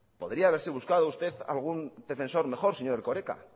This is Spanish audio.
podría haberse buscado usted algún defensor mejor señor erkoreka